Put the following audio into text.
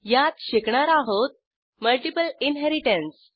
यात शिकणार आहोत मल्टिपल इनहेरिटन्स